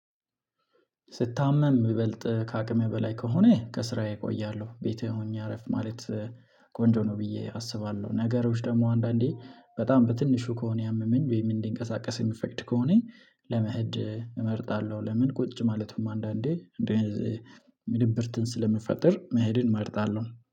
ስታመም ይበልጥ ከአቅሜ በላይ ከሆነ ከስራዬ እቆያለሁ ቤቴ ሆኜ አረፍ ማለት ቆንጆ ነው ብዬ አስባለሁ። ነገሮች ደግሞ አንዳንዴ በጣም በትንሹ ከሆነ ያመመኝ ወይም እንዲንቀሳቀስ የሚፈቅድ ከሆነ ለመሄድ እመርጣለሁ። ለምን ቁጭ ማለት ነው? አንዳንዴ እንደዚሁም ድብርትን ስለምፈጠር መሄድን እመርጣለሁ